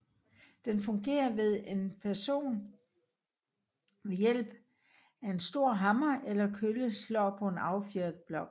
Den fungerer ved at en person ved hjælp af en stor hammer eller kølle slår på en affjedret blok